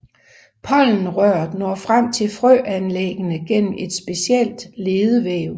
Pollenrøret når frem til frøanlæggene gennem et specielt ledevæv